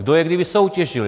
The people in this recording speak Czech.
Kdo je kdy vysoutěžil?